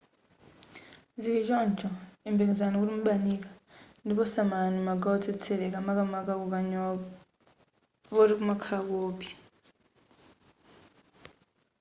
zili choncho yembekezerani kuti mubanika ndipo samalani magawo otsetseleka makamaka kukanyowa poti kumakhala koopsya